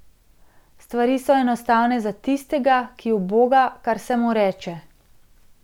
Stvari so enostavne za tistega, ki uboga, kar se mu reče.